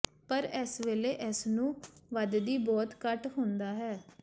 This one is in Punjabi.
ਪਰ ਇਸ ਵੇਲੇ ਇਸ ਨੂੰ ਵਧਦੀ ਬਹੁਤ ਘੱਟ ਹੁੰਦਾ ਹੈ